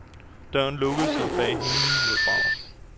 Døren lukkede sig bag hende med et brag.